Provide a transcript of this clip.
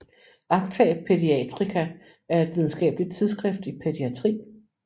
Acta Paediatrica er et videnskabeligt tidsskrift i pædiatri